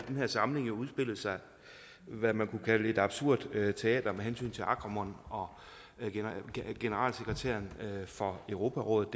den her samling har udspillet sig hvad man kunne kalde et absurd teater med hensyn til agramunt og generalsekretæren for europarådet